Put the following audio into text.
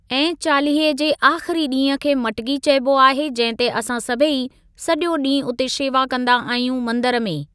ऐं चालीहे जे आख़िरी ॾींहं खे मटकी चइबो आहे जंहिं ते असां सभई सॼो ॾींहुं उते शेवा कंदा आहियूं मंदिर में।